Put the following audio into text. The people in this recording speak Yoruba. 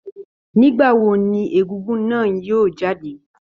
Nígbà wo ní egugun náà yóò jáde?